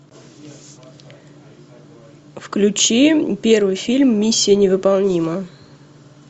включи первый фильм миссия невыполнима